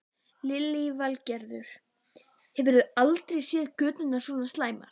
Lillý Valgerður: Hefurðu aldrei séð göturnar svona slæmar?